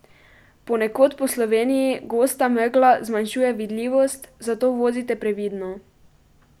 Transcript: Ponekod po Sloveniji gosta megla zmanjšuje vidljivost, zato vozite previdno!